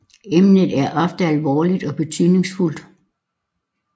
Emnet er ofte alvorligt og betydningsfuldt